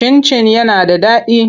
Cin-cin yana da daɗi.